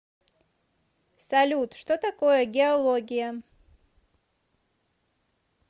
салют что такое геология